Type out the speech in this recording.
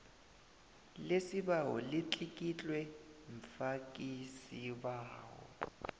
lesibawo litlikitlwe mfakisibawo